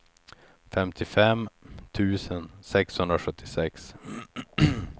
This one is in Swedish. femtiofem tusen sexhundrasjuttiosex